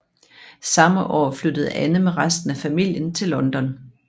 Samme år flyttede Anne med resten af familien til London